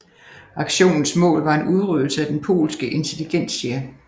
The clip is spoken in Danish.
Aktionens mål var en udryddelse af den polske intelligentsia